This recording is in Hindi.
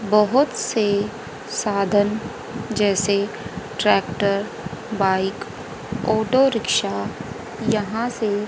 बहोत से साधन जैसे ट्रैक्टर बाइक ऑटो रिक्शा यहां से--